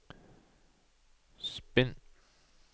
spinn